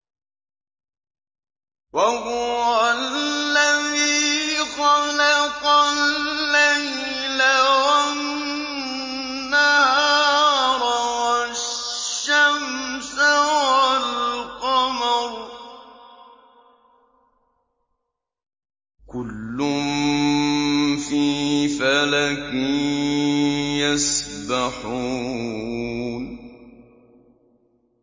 وَهُوَ الَّذِي خَلَقَ اللَّيْلَ وَالنَّهَارَ وَالشَّمْسَ وَالْقَمَرَ ۖ كُلٌّ فِي فَلَكٍ يَسْبَحُونَ